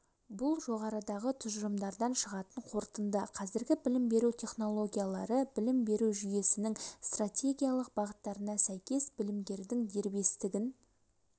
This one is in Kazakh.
бұл жоғарыдағы тұжырымдардан шығатын қорытынды қазіргі білім беру технологиялары білім беру жүйесінің стратегиялық бағыттарына сәйкес білімгердің дербестігін